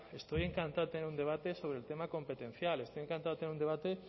estoy encantado de tener un debate sobre el tema competencial estoy encantado de tener un debate